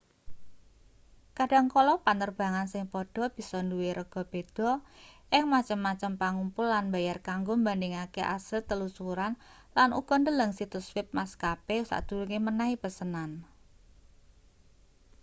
kadhangkala panerbangan sing padha bisa duwe rega beda ing macem-macem pangumpul lan mbayar kanggo mbandhingake asil telusuran lan uga ndeleng situs web maskape sadurunge menehi pesenan